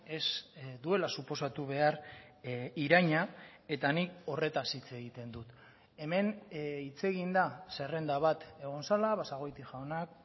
ez duela suposatu behar iraina eta nik horretaz hitz egiten dut hemen hitz egin da zerrenda bat egon zela basagoiti jaunak